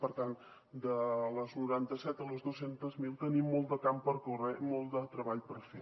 per tant de les noranta set a les dos cents miler tenim molt de camp per córrer i molt de treball per fer